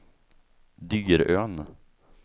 Dyrön